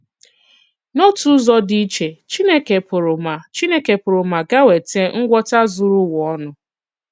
N’òtù ụzọ dị iche, Chìnékè pụrụ ma Chìnékè pụrụ ma ga-ewetà ngwọta zùrù ùwa ònù.